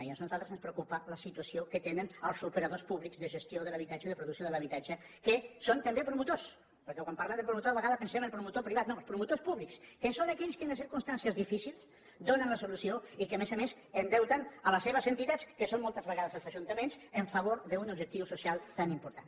i per això a nosaltres ens preocupa la situació que tenen els operadors públics de gestió de l’habitatge de producció de l’habitatge que són també promotors perquè quan parlem del promotor a vegades pensem el promotor privat no els promotors públics que són aquells que en les circumstàncies difícils donen la solució i que a més a més endeuten les seves entitats que són moltes vegades els ajuntaments en favor d’un objectiu social tan important